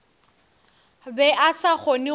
be a sa kgone go